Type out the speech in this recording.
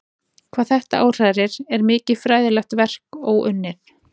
Hvað þetta áhrærir er mikið fræðilegt verk óunnið.